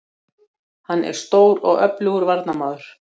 Hann er stór og öflugur varnarmaður